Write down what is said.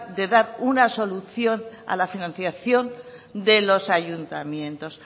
de dar una solución a la financiación de los ayuntamientos